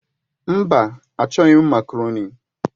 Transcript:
Mba, achọghị m makaroni.